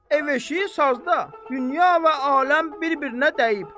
Ev-eşiyi sazda, dünya və aləm bir-birinə dəyib.